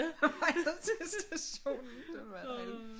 Er det bare mig der synes det er sjovt